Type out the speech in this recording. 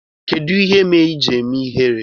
Kedụ ihe mere iji eme ihere?